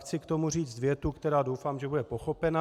Chci k tomu říct větu, která, doufám, že bude pochopena.